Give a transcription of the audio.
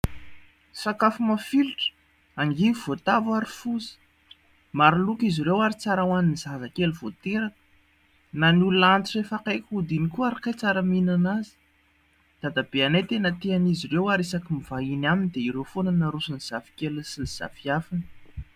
Sakafo mafilotra : angivy, voatavo ary foza, maro loko izy ireo ary tsara ho an'ny zazakely vao teraka na ny olona antitra efa akaiky hody ihany koa ary kay tsara mihinana azy. Dadabeanay tena tia an'izy ireo ary isaky mivahiny aminy dia ireo foana no arosony ny zafikeliny sy ny zafiafiny.